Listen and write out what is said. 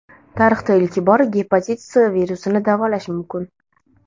Tarixda ilk bor gepatit S virusini davolash mumkin.